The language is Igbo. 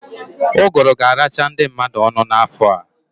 Uguru ga-aracha ndị mmadụ ọnụ n'afọ a.